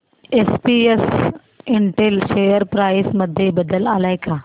SPS Intel share price मध्ये बदल आलाय का